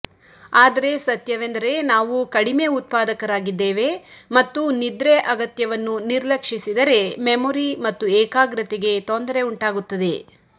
ಆದರೆ ಸತ್ಯವೆಂದರೆ ನಾವು ಕಡಿಮೆ ಉತ್ಪಾದಕರಾಗಿದ್ದೇವೆ ಮತ್ತು ನಿದ್ರೆ ಅಗತ್ಯವನ್ನು ನಿರ್ಲಕ್ಷಿಸಿದರೆ ಮೆಮೊರಿ ಮತ್ತು ಏಕಾಗ್ರತೆಗೆ ತೊಂದರೆ ಉಂಟಾಗುತ್ತದೆ